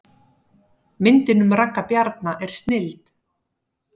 Myndin um Ragga Bjarna er snilld